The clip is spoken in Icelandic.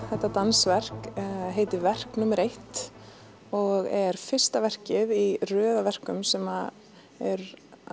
þetta dansverk heitir verk númer eitt og er fyrsta verkið í röð af verkum sem eru